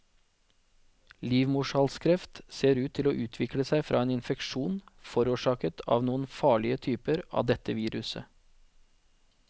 Livmorhalskreft ser ut til å utvikle seg fra en infeksjon forårsaket av noen farlige typer av dette viruset.